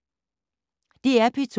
DR P2